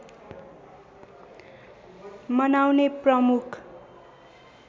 मनाउने प्रमुख